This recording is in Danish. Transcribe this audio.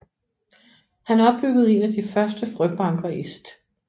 Han opbyggede en af de første frøbanker i St